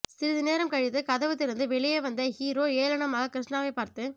சிறிது நேரம் கழித்து கதவு திறந்து வெளியே வந்த ஹீரோ ஏளனமாக கிருஷ்ணாவைப் பார்த்து